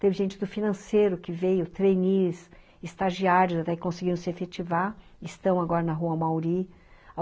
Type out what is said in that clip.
Teve gente do Financeiro que veio, treinis, estagiários, até que conseguiram se efetivar, estão agora na Rua Amauri.